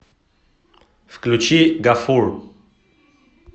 включи гафур